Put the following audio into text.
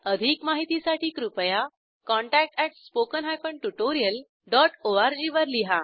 अधिक माहितीसाठी कृपया contact at spoken hyphen tutorial dot ORG वर लिहा